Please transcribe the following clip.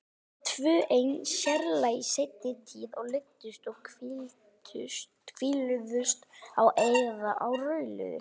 Alltaf tvö ein, sérlega í seinni tíð, og leiddust og hvísluðust á eða rauluðu.